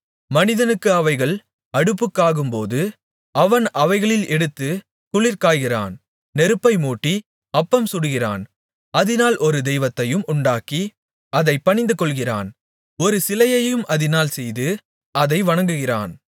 மனிதனுக்கு அவைகள் அடுப்புக்காகும்போது அவன் அவைகளில் எடுத்துக் குளிர்காய்கிறான் நெருப்பை மூட்டி அப்பமும் சுடுகிறான் அதினால் ஒரு தெய்வத்தையும் உண்டாக்கி அதைப் பணிந்துகொள்ளுகிறான் ஒரு சிலையையும் அதினால் செய்து அதை வணங்குகிறான்